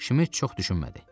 Şmit çox düşünmədi.